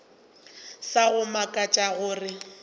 sa go mmakatša ke gore